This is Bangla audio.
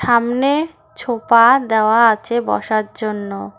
সামনে ছোপা দেওয়া আছে বসার জন্য।